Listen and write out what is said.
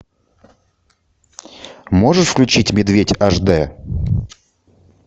можешь включить медведь аш дэ